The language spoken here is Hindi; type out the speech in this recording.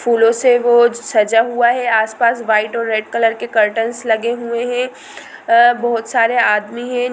फूलों से वो सजा हुआ है आस पास व्हाइट और रेड कलर के कर्टनस लगे हुए है बहुत सारे आदमी है ।